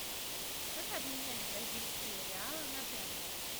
как обменять бразильские реалы на тенге